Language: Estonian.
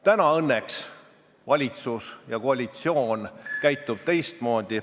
Täna käitub valitsus ja koalitsioon õnneks teistmoodi ...